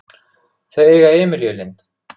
Þau eiga Emilíu Lind.